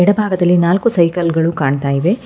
ಹಿಂಭಾಗದಲ್ಲಿ ನಾಲ್ಕು ಸೈಕಲ್ ಗಳು ಕಾಣ್ತಾ ಇವೆ.